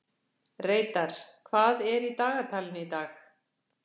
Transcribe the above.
Reidar, hvað er í dagatalinu í dag?